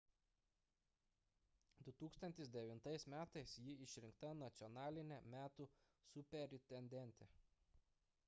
2009 m ji išrinkta nacionaline metų superintendente